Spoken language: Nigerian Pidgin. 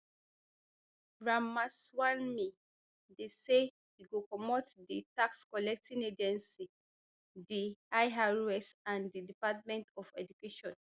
ramaswamy dey say e go comot di taxcollecting agency di irs and di department of education